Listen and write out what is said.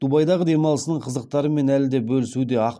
дубайдағы демалысының қызықтарымен әлі де бөлісуде